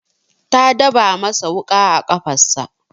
Ta daba masa wuƙa a kafarsa.